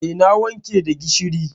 Eh, na wanke da gishiri.